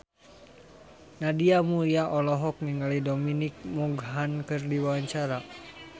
Nadia Mulya olohok ningali Dominic Monaghan keur diwawancara